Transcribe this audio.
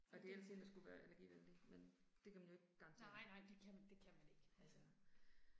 Okay. Nej nej det kan det kan man ikke altså